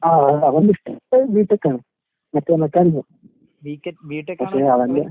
ആഹ് അവന്ടിഷ്ടം ബി ടെക്കാണ്. മറ്റേ മെക്കാനിക്കൽ. പക്ഷെ അവന്റെ